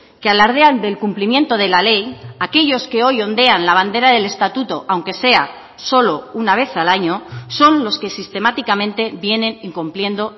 que alardean del cumplimiento de la ley aquellos que hoy ondean la bandera del estatuto aunque sea solo una vez al año son los que sistemáticamente vienen incumpliendo